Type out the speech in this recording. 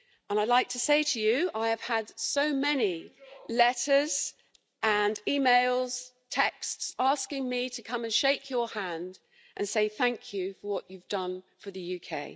I'd like to say to you, I have had so many letters and emails and texts asking me to come and shake your hand and say thank you for what you've done for the UK.